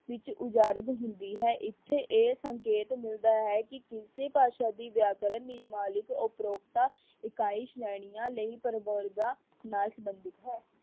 ਵਿਚ ਉਜਾਰਗ ਹੁੰਦੀ ਹੈ। ਇੱਥੇ ਇਹ ਸੰਕੇਤ ਮਿਲਦਾ ਹੈ ਕਿ ਦੂਸਰੀ ਭਾਸ਼ਾ ਦੀ ਵਿਆਕਰਨ ਨਿਵਾਲਿਕ ਉਪ੍ਰੋਗਤਾ ਇਕਾਈ ਸ਼੍ਰੇਣੀਆਂ ਲਈ ਪਰਵਰਗਾਂ ਨਾਲ ਸਬੰਧਿਤ ਹੈ।